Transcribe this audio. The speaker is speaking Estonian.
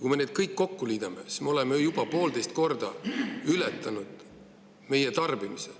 Kui me need kõik kokku liidame, siis me oleme juba poolteist korda ületanud meie tarbimise.